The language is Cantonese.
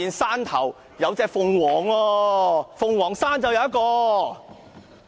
是火鳳凰，鳳凰是動物嗎？